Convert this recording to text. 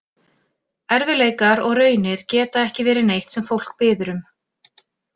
Erfiðleikar og raunir geta ekki verið neitt sem fólk biður um.